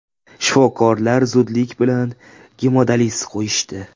Shifokorlar zudlik bilan gemodializ qo‘yishdi.